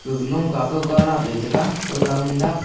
gag loka kauka daapley tega chakau man daap.